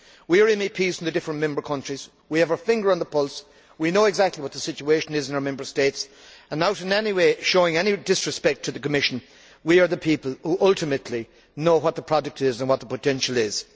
We are MEPs from the different member countries, we have our finger on the pulse, we know exactly what the situation is in our Member States and, without in any way showing disrespect to the Commission, I would say that we are the people who ultimately know what the product is and what the potential is.